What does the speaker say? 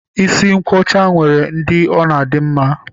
Isi nkwọcha nwere ndị ọ na-adị mma